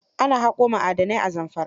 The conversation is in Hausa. Ana haƙo ma'adanai a Zamfara